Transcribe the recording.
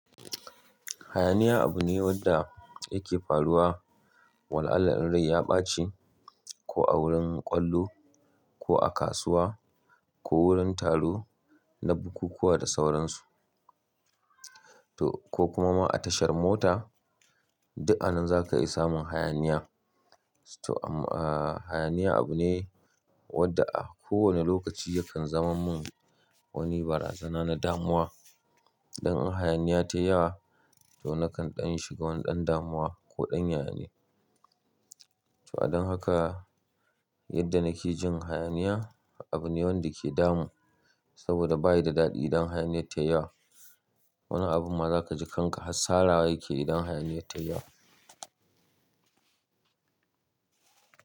Hayaniya abu ne wanda yake faruwa wala alla in rai ya ɓaci, ko a wurin ƙwallo, ko a kasuwa, ko wurin taro na bukukuwa da sauransu, to ko kuma ma a tashar mota, duk a nan zaka iya samun hayaniya. To am, ah, hayaniya abu ne wanda a kowane lokaci yakan zama mun wani barazana na damuwa. Don in hayaniya tai yawa, to na kan ɗan shiga wani ɗan damuwa ko ɗan yanayi. To a dan haka, yadda nake jin hayaniya abu ne wanda ke damun saboda bayi da daɗi idan hayaniya ta yawo. Wani abu ma za kaji kanka hassarawa yake idan hayaniya ta yawa.